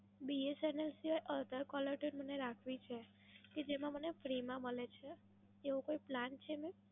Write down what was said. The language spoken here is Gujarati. BSNL સિવાય other caller tune મને રાખવી છે. કે જેમાં મને free માં મલે છે. એવો કોઈ plan છે mam?